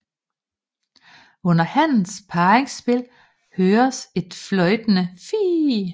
Under hannens parringsspil høres et fløjtende fiih